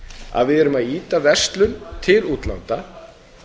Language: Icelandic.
að við erum að ýta verslun til útlanda